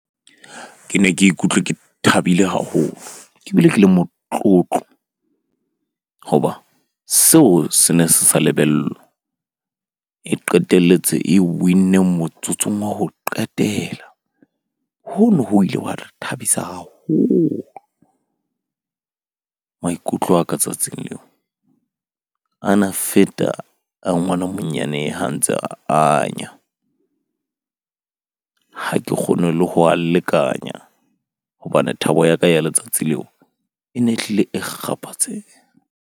Ke ne ke ikutlwe ke thabile haholo ke bile ke le motlotlo hoba seo se ne se sa lebellwa. E qetelletse e win-neng motsotsong wa ho qetela. Hono, ho ile hwa re thabisa haholo. Maikutlo a ka tsatsing leo a na feta a ngwana monyane, ha ntse a anya. Ha ke kgone le ho a lekanya hobane thabo ya ka ya letsatsi leo e ne e hlile e kgaphatseha.